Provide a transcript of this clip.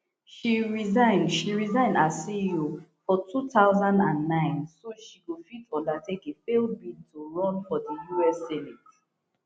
she resign she resign as ceo for two thousand and nine so she go fit undertake a failed bid to run for di us senate